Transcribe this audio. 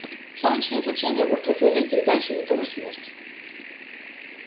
солнечное излучение в ультрафиолете и дальше это тоже смерть